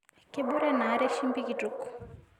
Kebore anaare chumbi kitok